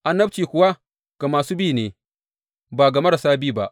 Annabci kuwa ga masu bi ne ba ga marasa bi ba.